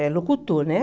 É locutor, né?